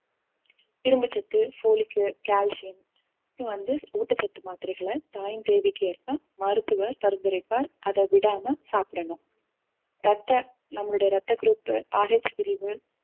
இரும்பு சத்து folic உ கால்சியம் வந்து ஊட்டச்சத்து மாத்திரைகளை தாயின் தேவைக்கு ஏற்ப மருத்துவர் பரிந்துரைப்பார் அதை விடாம சாப்பிடணும் ரத்த நம்மளுடைய ரத்த group பிரிவு